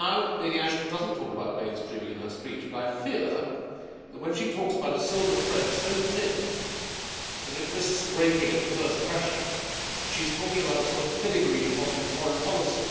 Lady Ashton does not talk about mainstreaming in her speech, but I fear that, when she talks about a silver thread so thin that it risks breaking at the first pressure, she is talking about a sort of filigree foreign policy.